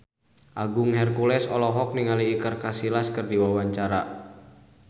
Agung Hercules olohok ningali Iker Casillas keur diwawancara